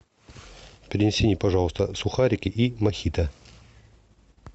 принеси мне пожалуйста сухарики и мохито